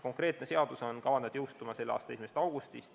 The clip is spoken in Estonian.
Konkreetne seadus on kavandatud jõustuma selle aasta 1. augustil.